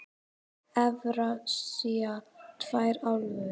Evrasía tvær álfur.